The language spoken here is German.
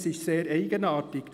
Das ist sehr eigenartig.